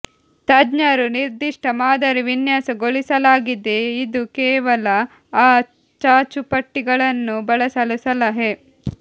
ತಜ್ಞರು ನಿರ್ದಿಷ್ಟ ಮಾದರಿ ವಿನ್ಯಾಸಗೊಳಿಸಲಾಗಿದೆ ಇದು ಕೇವಲ ಆ ಚಾಚುಪಟ್ಟಿಗಳನ್ನು ಬಳಸಲು ಸಲಹೆ